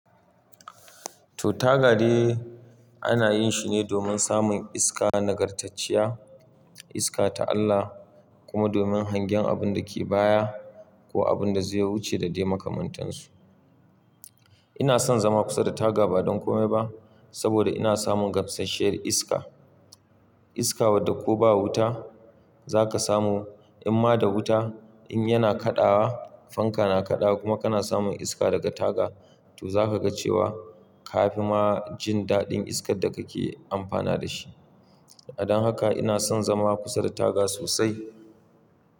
To taga de ana yin shi ne domin samun iska nagartacciya, iska ta Allah kuma domin hangen abun da ke baya ko abun da zai wuce da dai makamantansu. Ina son zama kusa da taga ba don kome ba saboda ina samun gamsasshiyar iska. Iska, wadda ko ba wuta za ka samu, in ma da wuta in yana kaɗawa, fanka na kaɗawa kuma kana samun iska daga taga to za ka ga cewa ka fi ma jin daɗin iskar da kake amfana da shi. Dan haka ina son zama kusa da taga sosai.